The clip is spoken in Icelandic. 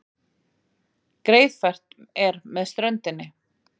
Greiðfært er með ströndinni